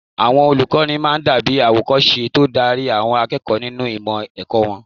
Àwọn olùkọ́ máa dàbí àwòkọ́ṣe tó ń darí àwọn akẹ́kọ̀ọ́ nínú ìmọ̀ ẹ̀kọ́ wọn